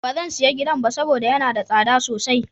Ba zan sayi gidan ba saboda yana da tsada sosai.